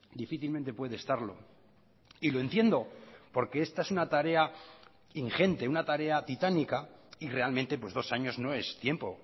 difícilmente puede estarlo y lo entiendo porque esta es una tarea ingente una tarea titánica y realmente dos años no es tiempo